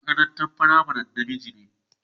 Mai makarantan firamarin na miji ne.